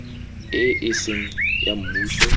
e e seng ya mmuso